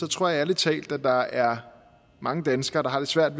tror jeg ærlig talt at der er mange danskere der har lidt svært